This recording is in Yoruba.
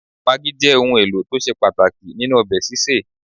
Magí jẹ́ òun ẹlò tó ṣe pàtàkì nínú ọbẹ̀ sísè